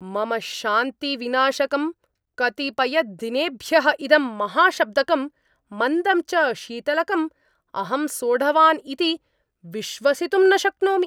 मम शान्तिविनाशकं, कतिपयदिनेभ्यः इदं महाशब्दकं, मन्दं च शीतलकम् अहं सोढवान् इति विश्वसितुं न शक्नोमि।